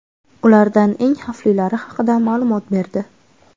ulardan eng xavflilari haqida ma’lumot berdi.